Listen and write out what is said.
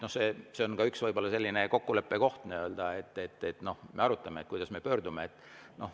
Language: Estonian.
Nii et see on võib-olla üks selline kokkuleppe koht, et arutame, kuidas me pöördume.